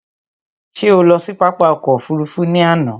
Ṣé o lọ sí pápá ọkò òfurufú ni àná?